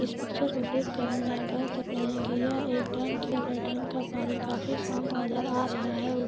इस पिक्चर को देख कर हम यह कह सकते है की यह एक डैम का पानी काफी शांत नजर आ रहा है और --